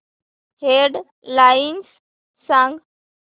head lines सांग